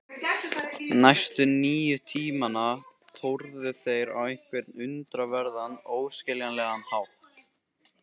Næstu níu tímana tórðu þeir á einhvern undraverðan, óskiljanlegan hátt.